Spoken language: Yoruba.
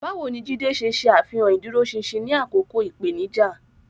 Báwo ni Jide ṣe ṣe àfihàn ìdúróṣinṣin ní àkókò ìpèníjà?